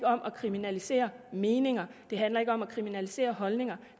om at kriminalisere meninger det handler ikke om at kriminalisere holdninger